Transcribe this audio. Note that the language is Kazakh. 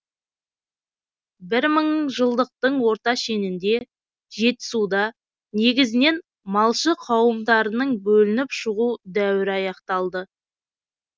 бір мыңжылдықтың орта шенінде жетісуда негізінен малшы қауымдарының бөлініп шығу дәуірі аяқталды